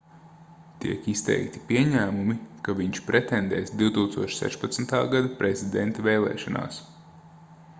tiek izteikti pieņēmumi ka viņš pretendēs 2016. gada prezidenta vēlēšanās